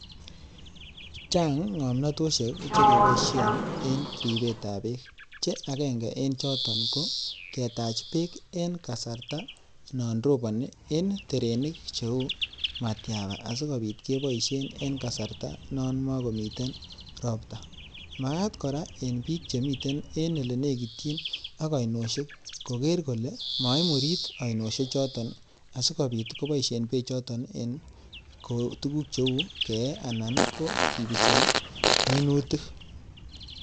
chaang ngamnotesheek chekipaishen eng ripeet ap peek che agenge kochat kepaisheen terosheek cheuu matyaapa kora ko piik chemitei olenegit ak ainosheek komagat korip peek mtakomurit